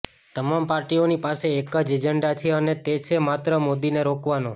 તમામ પાર્ટીઓની પાસે એક જ એજન્ડા છે અને તે છે માત્ર મોદીને રોકવાનો